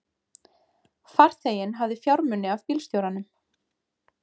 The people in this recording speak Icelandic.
Farþeginn hafði fjármuni af bílstjóranum